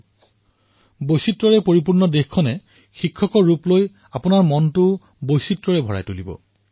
বিচিত্ৰতাৰে ভৰা এই দেশে আপোনালোকক এই বিচিত্ৰতাই এক শিক্ষকৰ ৰূপত আপোনালোকৰ হৃদয়কো বিচিত্ৰতাৰে ভৰাই তুলিব